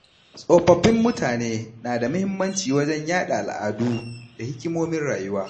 Tsofaffin mutane na da muhimmanci wajen yada al’adu da hikimomin rayuwa.